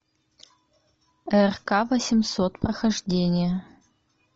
рк восемьсот прохождение